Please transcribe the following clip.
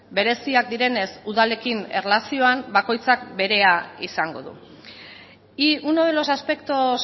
bereziak direnez udalekin erlazioan bakoitzak berea izango du y uno de los aspectos